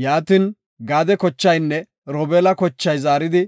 Yaatin. Gaade kochaynne Robeela kochay zaaridi,